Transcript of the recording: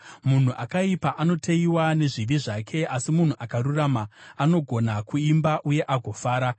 Munhu akaipa anoteyiwa nezvivi zvake, asi munhu akarurama anogona kuimba uye agofara.